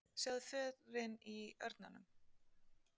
Sjáðu förin í örmunum.